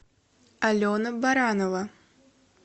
алена баранова